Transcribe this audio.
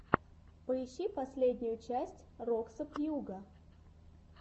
поищи последнюю часть роксо пьюга